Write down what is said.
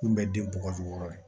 Kurun bɛ den bɔgɔ jukɔrɔ